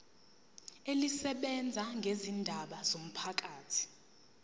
elisebenza ngezindaba zomphakathi